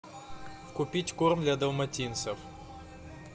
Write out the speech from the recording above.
купить корм для далматинцев